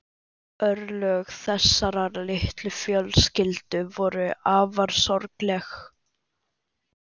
Örlög þessarar litlu fjölskyldu voru afar sorgleg.